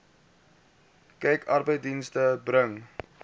kyk arbeidsdienste bring